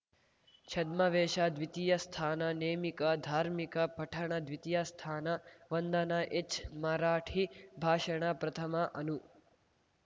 ಛದ್ಮವೇಷ ದ್ವಿತೀಯ ಸ್ಥಾನ ನೇಮಿಕ ಧಾರ್ಮಿಕ ಪಠಣ ದ್ವಿತೀಯ ಸ್ಥಾನ ವಂದನ ಎಚ್‌ ಮರಾಠಿ ಭಾಷಣ ಪ್ರಥಮ ಅನು